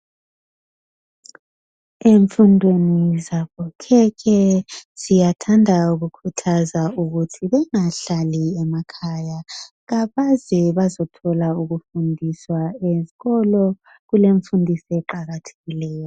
Emfundweni zabokhekhe, siyathanda ukukuthaza ukuthi bengahlali emakhaya. Kabaze bezothola ukufundiswa eskolo. Kulemfundiso eqakathekileyo.